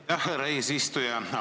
Aitäh, härra eesistuja!